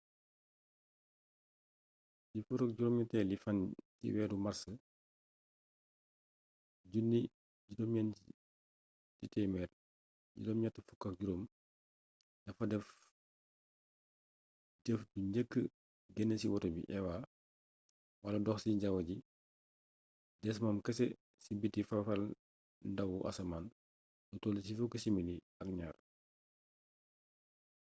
ci 18i fan ci weeru màrs 1965 da fa def jëf bu njëkk genn ci woto bi eva wala « dox ci jawwu ji» des moom kese ci biti fafalndawu asamaan lu toll ci fukki simili ak ñaar